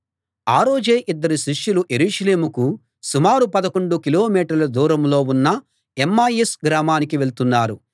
ఆ రోజే ఇద్దరు శిష్యులు యెరూషలేముకు సుమారు పదకొండు కిలోమీటర్ల దూరంలో ఉన్న ఎమ్మాయిస్ గ్రామానికి వెళ్తున్నారు